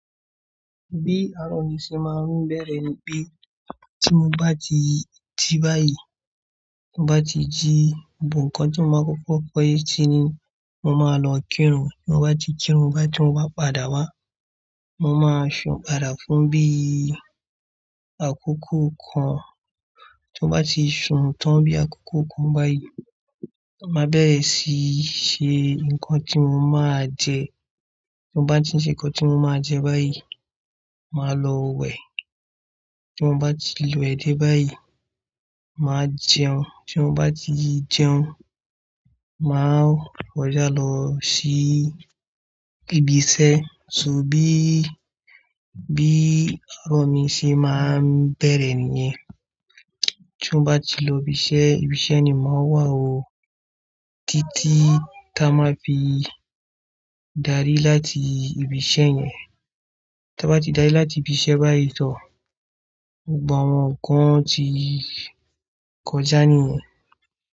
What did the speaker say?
Bí àárọ̀ mi ṣe máa ń bẹ̀rẹ̀ ni pé tí mo bá ti ji bayìí, ti mo bá ti jí, gbogbo nǹkan tí mo máa kókó se ní, mo máa lọ kírun. Tí mo bá ti kírun, tí mo bá padà wá, mo máa sun padà fún bí i àkókò kan. Tí mo bá ti sun tán bí àkókò kan báyìí, màá bẹ̀rẹ̀ síí ṣe ǹkan tí mo máa jẹ. Tí mo bá ti ṣe ǹkan tí mo máa jẹ báyìí, màá lọ wẹ̀. Tí mo bá ti wẹ̀ dé báyìí, màá jẹun. Tí mo bá ti jẹun, màá kọjá lọ sí ibi iṣẹ́. Bí, bí àárọ̀ mi ṣe máa ń bẹ̀rẹ̀ nìyẹn. Tí mo bá ti lọ ibi iṣẹ́, ibi iṣẹ́ ni mo wà ó títí táa máa fi dárí láti ibi iṣẹ́ yẹn. Tí a bá ti dárí láti ibi iṣẹ́ báyìí tan, gbogbo awọ́n nkan ti kọjá nìyẹn.